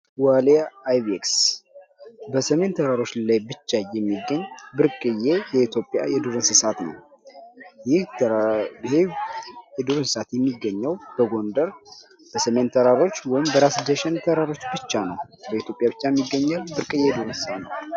ዋልያ አይቤክስ በሰሜን ተራሮች ላይ ብቻ የሚገኝ ብርቅዬ የኢትዮጵያ የዱር እንስሳ ነው። ይህም የዱር እንስሳ የሚገኘው በጎንደር በሰሜን ተራሮች ወይም በራስ ዳሸን ተራሮች ብቻ ነው። በኢትዮጵያ የሚገኘው ብርቅዬ የዱር እንስሳ ነው።